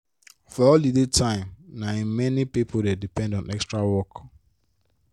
for holiday time na im many pipo dey depend on extra work.